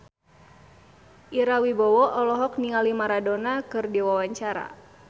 Ira Wibowo olohok ningali Maradona keur diwawancara